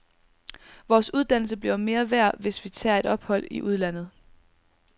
Vores uddannelse bliver mere værd, hvis vi tager et ophold i udlandet.